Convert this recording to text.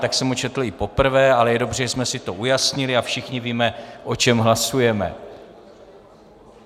Tak jsem ho četl i poprvé, ale je dobře, že jsme si to ujasnili a všichni víme, o čem hlasujeme.